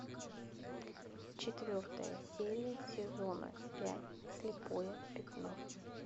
четвертая серия сезона пять слепое пятно